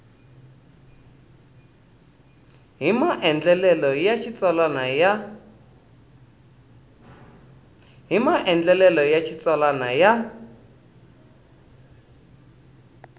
hi maandlalelo ya xitsalwana ya